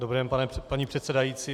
Dobrý den, paní předsedající.